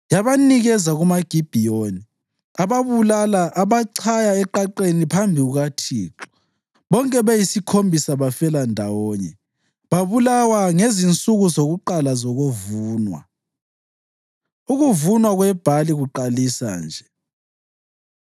Yabanikeza kumaGibhiyoni, ababulala abachaya eqaqeni phambi kukaThixo. Bonke beyisikhombisa bafela ndawonye; babulawa ngezinsuku zakuqala zokuvuna, ukuvunwa kwebhali kuqalisa nje.